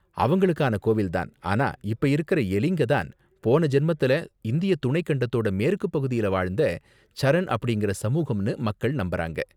அவங்களுக்கான கோவில் தான், ஆனா இப்ப இருக்கற எலிங்க தான் போன ஜென்மத்துல இந்திய துணைக் கண்டத்தோட மேற்குப்பகுதியில வாழ்ந்த சரண் அப்படிங்கற சமூகம்னு மக்கள் நம்பறாங்க.